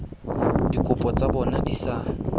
dikopo tsa bona di sa